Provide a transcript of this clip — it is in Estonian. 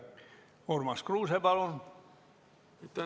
Urmas Kruuse, palun!